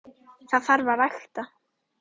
Það þarf að rækta.